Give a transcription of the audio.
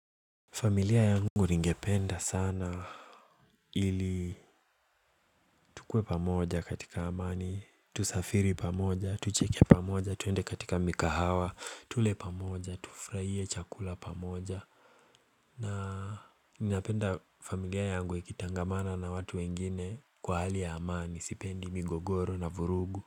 Familia yangu ningependa sana ili tukue pamoja katika amani, tusafiri pamoja, tucheke pamoja, tuende katika mikahawa, tule pamoja, tufurahie chakula pamoja na ninapenda familia yangu ikitangamana na watu wengine kwa hali ya amani, sipendi migogoro na vurugu.